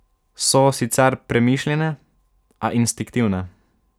So sicer premišljene, a instinktivne.